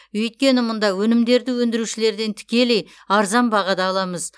өйткені мұнда өнімдерді өнідірушілерден тікелей арзан бағада аламыз